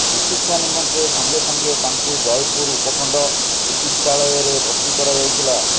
ଚିକିତ୍ସା ନିମନ୍ତେ ସଙ୍ଗେ ସଙ୍ଗେ ତାଙ୍କୁ ଜୟପୁର ଉପଖଣ୍ଡ ଚିକିତ୍ସାଳୟରେ ଭର୍ତ୍ତି କରାଯାଇଥିଲା